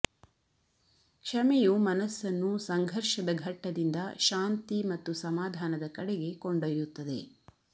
ಕ್ಷಮೆಯು ಮನಸ್ಸನ್ನು ಸಂಘರ್ಷದ ಘಟ್ಟದಿಂದ ಶಾಂತಿ ಮತ್ತು ಸಮಾಧಾನದ ಕಡೆಗೆ ಕೊಂಡೊಯ್ಯುತ್ತದೆ